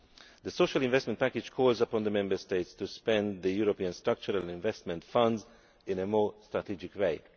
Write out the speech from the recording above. The Social Investment Package calls upon the Member States to spend European Structural and Investment Funds in a more strategic way.